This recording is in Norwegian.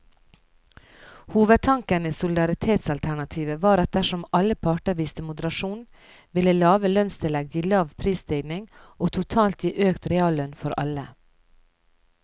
Hovedtanken i solidaritetsalternativet var at dersom alle parter viste moderasjon, ville lave lønnstillegg gi lav prisstigning og totalt gi økt reallønn for alle.